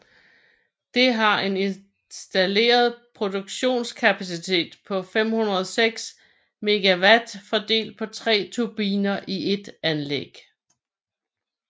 Det har en installeret produktionskapacitet på 506 MW fordelt på 3 turbiner i ét anlæg